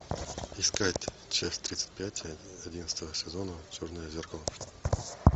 искать часть тридцать пять одиннадцатого сезона черное зеркало